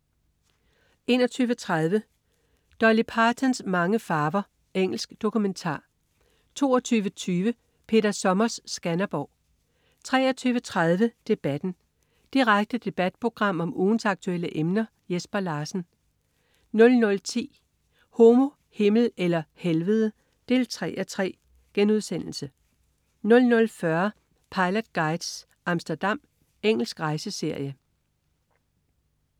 21.30 Dolly Partons mange farver. Engelsk dokumentar 22.20 Peter Sommers Skanderborg 23.30 Debatten. Direkte debatprogram om ugens aktuelle emner. Jesper Larsen 00.10 Homo, Himmel eller Helvede 3:3* 00.40 Pilot Guides: Amsterdam. Engelsk rejseserie